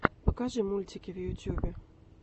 покажи мультики в ютьюбе